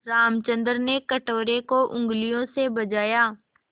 रामचंद्र ने कटोरे को उँगलियों से बजाया